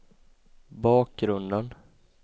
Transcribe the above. bakgrunden